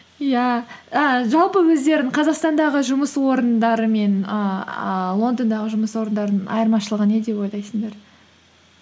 иә а жалпы өздерің қазақстандағы жұмыс орандары мен ііі лондондағы жұмыс орындарының айырмашылығы не деп ойлайсыңдар